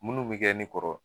Munnu bi kɛ ne kɔrɔ